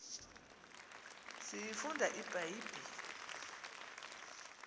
siyifunde ibha yibhile